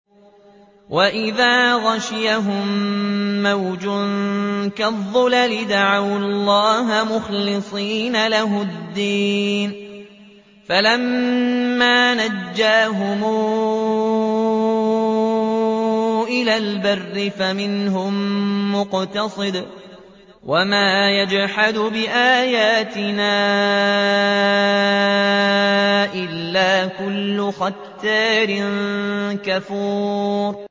وَإِذَا غَشِيَهُم مَّوْجٌ كَالظُّلَلِ دَعَوُا اللَّهَ مُخْلِصِينَ لَهُ الدِّينَ فَلَمَّا نَجَّاهُمْ إِلَى الْبَرِّ فَمِنْهُم مُّقْتَصِدٌ ۚ وَمَا يَجْحَدُ بِآيَاتِنَا إِلَّا كُلُّ خَتَّارٍ كَفُورٍ